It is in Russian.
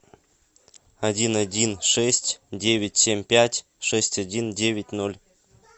один один шесть девять семь пять шесть один девять ноль